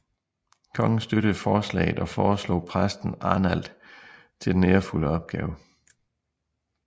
Kongen støttede forslaget og foreslog præsten Arnald til den ærefulde opgave